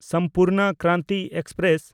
Sampurna Kranti express